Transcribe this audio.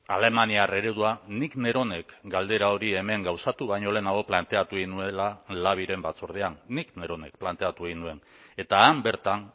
alemaniar eredua nik neronek galdera hori hemen gauzatu baino lehenago planteatu egin nuela labiren batzordean nik neronek planteatu egin nuen eta han bertan